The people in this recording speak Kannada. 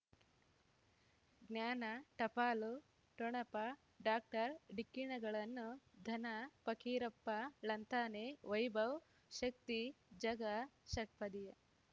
ಜ್ಞಾನ ಟಪಾಲು ಠೊಣಪ ಡಾಕ್ಟರ್ ಢಿಕ್ಕಿ ಣಗಳನು ಧನ ಫಕೀರಪ್ಪ ಳಂತಾನೆ ವೈಭವ್ ಶಕ್ತಿ ಝಗಾ ಷಟ್ಪದಿಯ